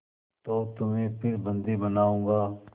तो तुम्हें फिर बंदी बनाऊँगा